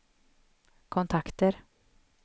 kontakter